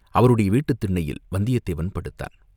அவருடைய வீட்டுத் திண்ணையில் வந்தியத்தேவன் படுத்தான்.